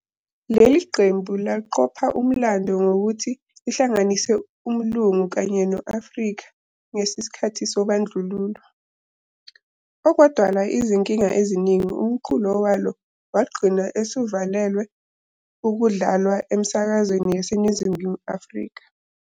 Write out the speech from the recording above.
Leli qembu laqopha umlando ngokuthi lihlanganise umlungu kanye no-afrika ngesikhathi sobandlululo, okwadala izinkinga eziningi umculo walo wagcina usiuvaliwe ukudlalwa emsakazweni yaseNingizimu Afrika.